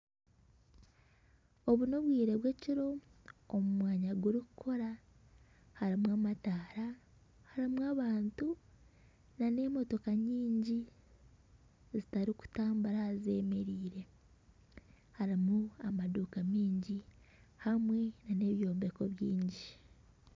Obu n'obwire bw'ekiro omu mwanya gurikukora harimu amataara harimu abantu na n'emotooka nyingi zitarikutambura zemereire harimu amaduuka maingi hamwe n'ebyombeko baingi.